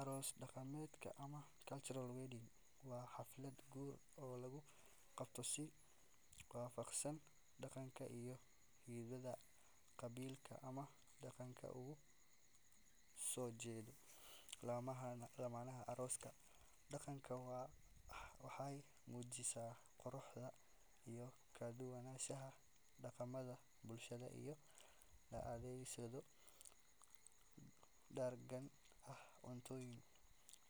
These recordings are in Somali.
Aroos dhaqameed ama cultural wedding waa xaflad guur oo lagu qabto si waafaqsan dhaqanka iyo hiddaha qabiilka ama deegaanka uu ka soo jeedo lamaanaha. Aroosyada dhaqanka ah waxay muujinayaan quruxda iyo kala-duwanaanta dhaqamada bulshada, iyadoo la adeegsado dhar gaar ah, cuntooyin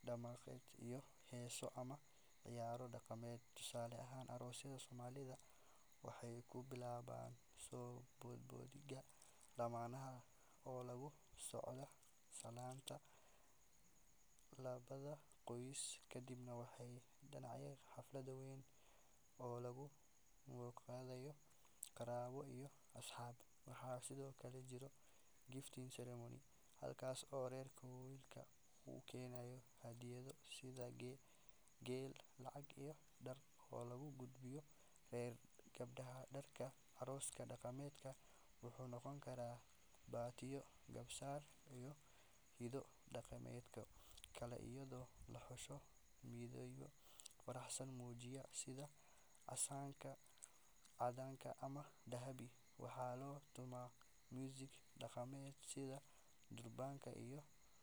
dhaqameed, iyo heeso ama ciyaaro dhaqameed. Tusaale ahaan, aroosyada Soomaalida waxay ku bilaabmaan soo bandhigidda lamaanaha oo la socda salaanta labada qoys, kadibna waxaa dhacda xaflad weyn oo lagu martiqaado qaraabo iyo asxaab. Waxaa sidoo kale jira gifting ceremony halkaas oo reerka wiilka uu keeno hadiyado sida geel, lacag, iyo dhar oo loo gudbiyo reerka gabadha. Dharka arooska dhaqameed wuxuu noqon karaa baatiyo, garbasaar, iyo hido dhaqameedyo kale iyadoo la xusho midabyo farxad muujinaya sida casaanka, caddaan ama dahabi. Waxaa la tumaa muusig dhaqameed sida durbaano iyo.